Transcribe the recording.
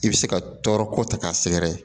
I bɛ se ka tɔɔrɔ ko ta k'a sɛgɛrɛ